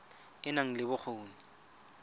e e nang le bokgoni